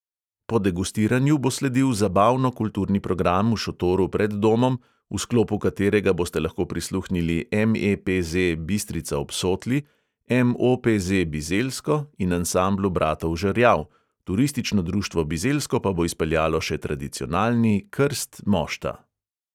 Po degustiranju bo sledil zabavno-kulturni program v šotoru pred domom, v sklopu katerega boste lahko prisluhnili MEPZ bistrica ob sotli, MOPZ bizeljsko in ansamblu bratov žerjav; turistično društvo bizeljsko pa bo izpeljalo še tradicionalni krst mošta.